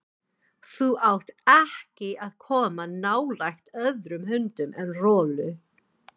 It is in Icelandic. Þú átt ekki að koma nálægt öðrum hundum en Rolu.